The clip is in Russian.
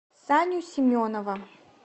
саню семенова